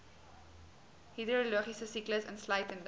hidrologiese siklus insluitende